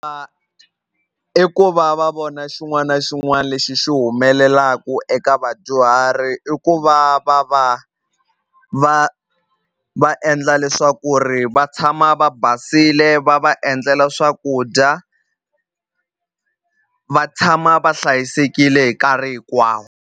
i ku va va vona xin'wana na xin'wana lexi xi humelelaku eka vadyuhari i ku va va va va va va endla leswaku ri va tshama va basile va va endlela swakudya va tshama va hlayisekile hi nkarhi hinkwawo.